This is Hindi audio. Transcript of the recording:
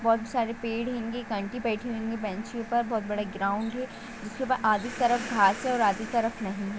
बहुत सारे पेड़ हेंगी एक आंटी बेठी हुई हेंग बेंच ऊपर बहुत बड़े ग्राउंड है जिसके ऊपर आधी तरफ घास है आधी तरफ नहीं है।